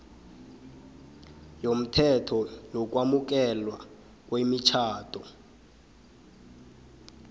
yomthetho wokwamukelwa kwemitjhado